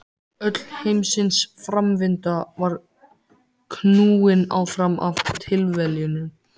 Öll heimsins framvinda var knúin áfram af tilviljunum.